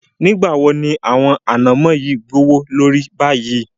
Nígbawó ni àwọn ànàmọ̀ yìí gbọwọ lórí báyìí?